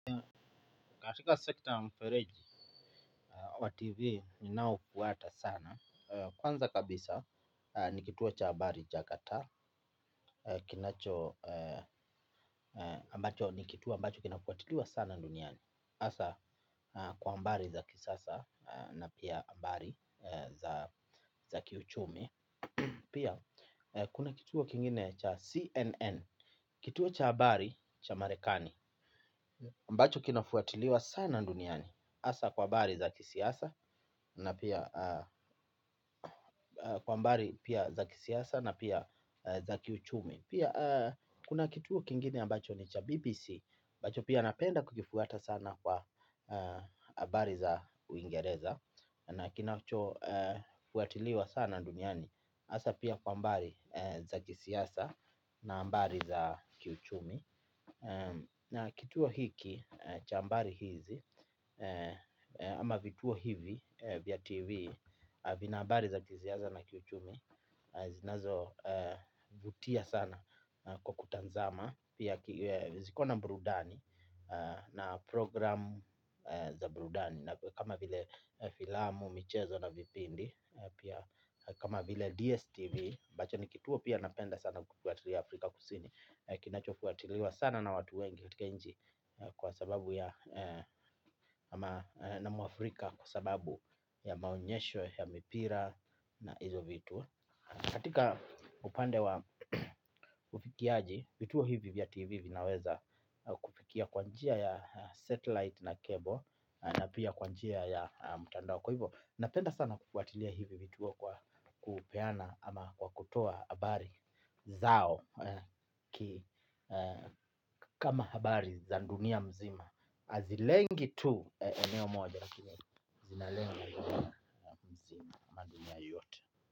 Katika sekta mfereji wa tv ninaoufuata sana. Kwanza kabisa ni kituo cha habari cha qatar. Kinacho, ambacho ni kituo ambacho kinafuatiliwa sana duniani hasa kwa habari za kisasa na pia habari za kiuchumi. Pia kuna kituo kingine cha CNN. Kituo cha habari cha Marekani ambacho kinafuatiliwa sana duniani hasa kwa habari za kisiasa na pia kwa habari pia za kisiasa na pia za kiuchumi. Pia kuna kituo kingine ambacho ni cha BBC ambacho pia napenda kukifuata sana kwa habari za uingereza. Na kinacho fuatiliwa sana duniani hasa pia kwa habari za kisiasa na habari za kiuchumi. Na kituo hiki cha habari hizi ama vituo hivi vya TV Vina habari za kisiasa na kiuchumi. Zinazovutia sana kwa kutazama. Pia ziko na burudani. Na programu za burudani kama vile filamu, michezo na vipindi kama vile DSTV ambacho ni kituo pia napenda sana kufuatilia Afrika kusini, kinachofuatiliwa sana na watu wengi katika nchi. Kwa sababu ya na mwafrika kwa sababu ya maonyesho ya mipira na hizo vitu. Katika upande wa ufikiaji, vituo hivi vya tv vinaweza kufikia kwa njia ya satellite na cable. Na pia kwa njia ya mtandao kwa hivo. Napenda sana kufuatilia hivi vituo kwa kupeana ama kwa kutoa habari zao kama habari za dunia mzima. Hazilengi tu eneo moja lakini zinalenga dunia mzima ama dunia yote.